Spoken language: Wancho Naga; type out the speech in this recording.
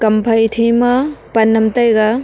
phaithe ma pan am taiga.